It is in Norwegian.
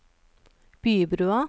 Bybrua